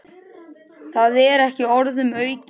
Það er ekki orðum aukið.